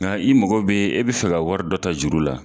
Nga i mago be e be fɛ ka wari dɔ ta juru la